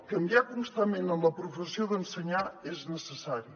canviar constantment en la professió d’ensenyar és necessari